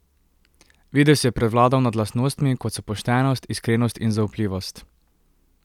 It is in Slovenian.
Videz je prevladal nad lastnostmi, kot so poštenost, iskrenost in zaupljivost.